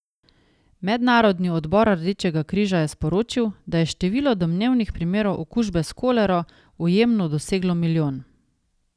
Mednarodni odbor Rdečega križa je sporočil, da je število domnevnih primerov okužbe s kolero v Jemnu doseglo milijon.